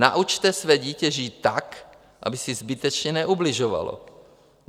Naučte své dítě žít tak, aby si zbytečně neubližovalo.